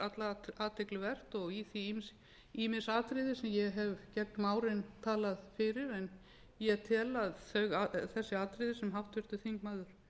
allar athygli vert og í því ýmis atriði sem ég hef gegnum árin talað fyrir en ég tel að þessi atriði sem háttvirtur þingmaður